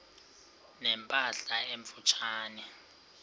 ne mpahla emfutshane